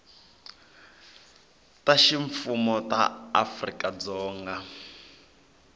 ta ximfumo ta afrika dzonga